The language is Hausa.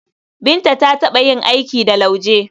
Binta ta taɓa yin aiki da lauje.